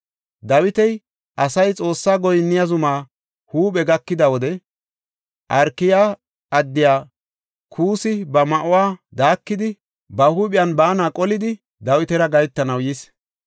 Dawiti asay Xoossaa goyinniya zumaa huuphe gakida wode, Arkaya addiya Kuussi ba ma7uwa daakidi, ba huuphiyan baana qolidi, Dawitara gahetanaw yis.